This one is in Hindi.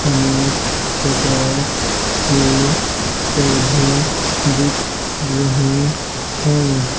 अनेक प्रकार के पौधे दिख रहे हैं।